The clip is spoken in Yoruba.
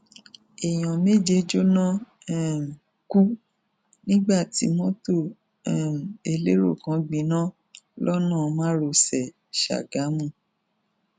èèyàn méje jóná um kú nígbà tí mọtò um elérò kan gbiná lọnà márosẹ gágámù